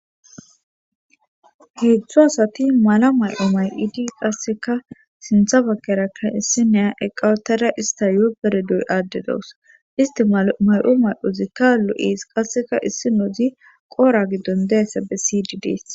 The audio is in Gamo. heedzdzu asati mala may7o may7udi qasseka sinthafakerakka issineya eqawuotara ista yo bere duy adde doos isti may7o may7ozikka lo7is qasseka issi nozi qoora giddon deessa be siydides